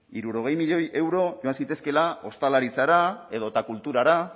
hirurogei milioi euro eman zitezkeela ostalaritzara edota kulturara